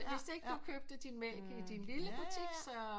Hvis ikke du købte din mælk i din lille butik så